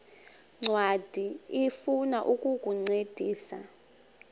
ncwadi ifuna ukukuncedisa